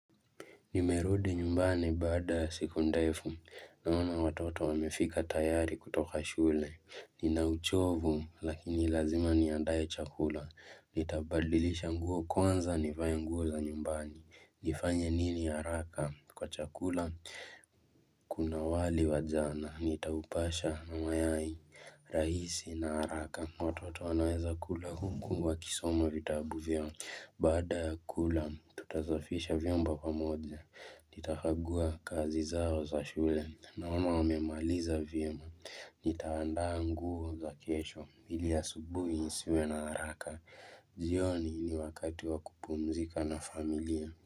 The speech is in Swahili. Nimerudi nyumbani baada ya siku ndefu naona watoto wamefika tayari kutoka shule. Ninauchovu lakini lazima niandae chakula. Nitabadilisha nguo kwanza nivae nguo za nyumbani. Nifanye nini haraka kwa chakula kuna wali wa jana. Nitaupasha na mayai rahisi na haraka. Watoto wanaweza kula huku wakisoma vitabu vyao baada ya kula tutasafisha vyombo pamoja. Nitakagua kazi zao za shule naona wamemaliza vyema. Nitaandaa nguo za kesho ili asubuhi nisiwe na haraka. Jioni ni wakati wa kupumzika na familia.